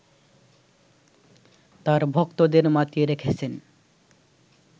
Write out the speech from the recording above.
তার ভক্তদের মাতিয়ে রেখেছেন